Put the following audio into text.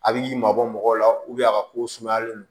A bɛ mabɔ mɔgɔw la a ka ko sumayalen don